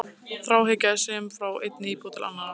Þráhyggja er söm frá einni íbúð til annarrar.